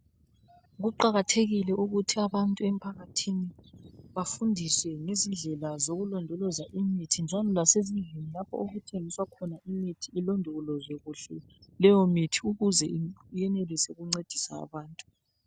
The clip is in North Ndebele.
Kuqakathekile ukuthi abantu emphakathini bafundiswe izindlela zokulondoloza imithi njalo lasezindlini lapho okuthengiswa khona imithi ilodolozwe kuhle leyomithi ukuze yenelise ukuncedisa abantu.